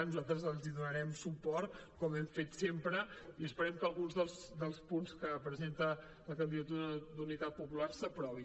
nosaltres els donaren suport com hem fet sempre i esperem que alguns dels punts que presenta la candidatura d’unitat popular s’aprovin